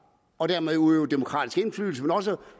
og dermed udøve demokratisk indflydelse men også